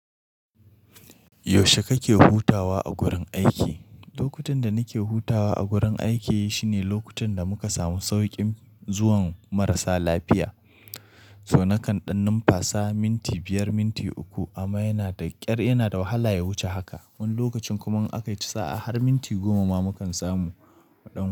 Yaushe kake hutawa a gurin aiki? Lokutan da nike hutawa a gurin aiki shine lokutan da muka samu saukin zuwan marasa lafiya. So nakan ɗan numfasa minti biyar, minti uku amma yana da ƙyar yana da wahala ya wuce haka. Wani lokacin kuma in aka ci sa'a har minti goma ma mukan samu mu ɗan.